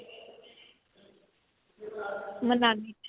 ਮਨਾਲੀ 'ਚ.